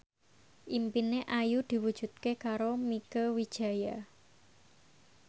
impine Ayu diwujudke karo Mieke Wijaya